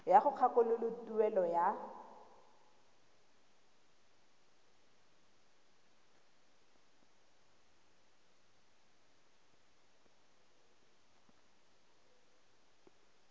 ya go kgakololo tuelo ya